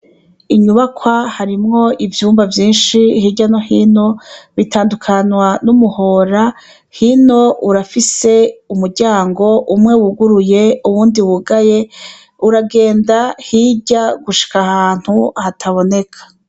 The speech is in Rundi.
Inyubakwa harimwo ivyumba vyinshi hirya no hino bitandukanywa n'umuhora hino urafise umuryango umwe wuguruye ubundi wugaye uragenda hirya gushika ahantu hataboneka.